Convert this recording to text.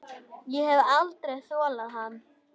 Ég hef aldrei þolað hann.